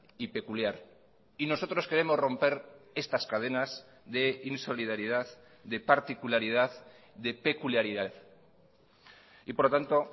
y peculiar y nosotros queremos romper estas cadenas de insolidaridad de particularidad de peculiaridad y por lo tanto